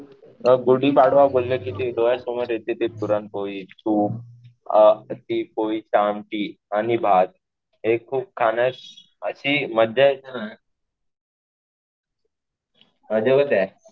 गुढीपाडवा बोललं कि ते डोळ्यासमोर येते ते पुरणपोळी, तूप, ती आमटी आणि भात, हे खूप खाणं अशी मजा आहे ना. अजबच आहे.